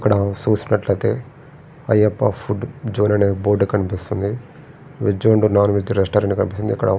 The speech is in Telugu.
ఇక్కడ చూసినట్లయితే అయ్యప్ప ఫుడ్ జోన్ అనే బోర్డు కనిపిస్తుంది ఈ జోన్లో వెజ్ అండ్ నాన్వెజ్ రెస్టారెంట్ కనిపిస్తుంది ఇక్కడ --